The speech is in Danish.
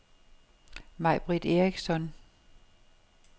May-Britt Eriksson